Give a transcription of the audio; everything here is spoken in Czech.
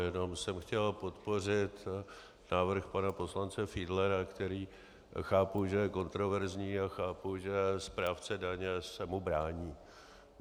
Jenom jsem chtěl podpořit návrh pana poslance Fiedlera, který chápu, že je kontroverzní, a chápu, že správce daně se mu brání.